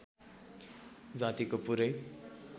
जातिको पुरै